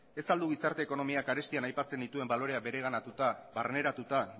ez al du gizarte ekonomiak arestian aipatzen dituen baloreak bereganatuta barneratuta